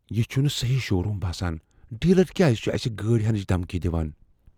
یہ چھُنہٕ سہی شو روٗم باسان ۔ ڈیلر کیٛاز چُھ اسہِ گٲڑۍ ہینٕچ دھمكی دِوان؟